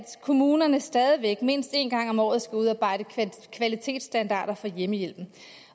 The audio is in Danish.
kommunerne stadig væk mindst én gang om året skal udarbejde kvalitetsstandarder for hjemmehjælpen